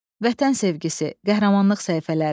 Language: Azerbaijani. Vətən sevgisi, qəhrəmanlıq səhifələri.